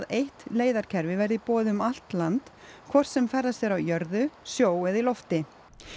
eitt leiðakerfi verði í boði um allt land hvort sem ferðast er á jörðu sjó eða í lofti